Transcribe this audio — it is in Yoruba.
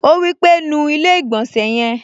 Ó wí pé, "nu ilé-ìgbọ̀nsẹ̀ yẹn"